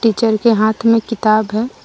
Teacher के हाथ में किताब है।